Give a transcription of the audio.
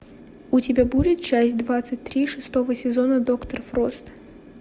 у тебя будет часть двадцать три шестого сезона доктор фрост